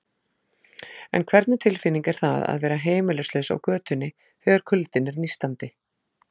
En hvernig tilfinning er það að vera heimilislaus á götunni, þegar kuldinn er nístandi?